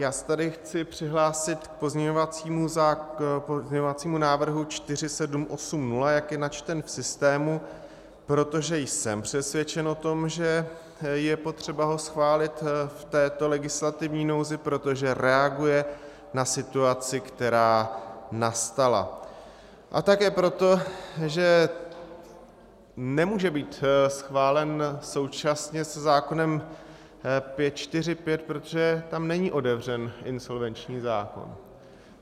Já se tady chci přihlásit k pozměňovacímu návrhu 4780, jak je načten v systému, protože jsem přesvědčen o tom, že je potřeba ho schválit v této legislativní nouzi, protože reaguje na situaci, která nastala, a také proto, že nemůže být schválen současně se zákonem 545, protože tam není otevřen insolvenční zákon.